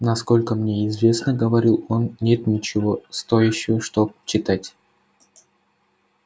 насколько мне известно говорил он нет ничего стоящего чтоб читать